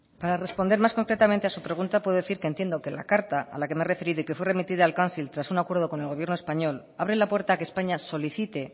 para responder más concretamente a su pregunta puedo decir que entiendo que la carta a la que me he referido y que fue remitida al council tras un acuerdo con el gobierno español abre la puerta a que españa solicite